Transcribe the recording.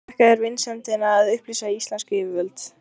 Þakka þér vinsemdina að upplýsa íslensk yfirvöld.